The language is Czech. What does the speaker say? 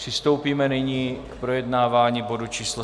Přistoupíme nyní k projednávání bodu číslo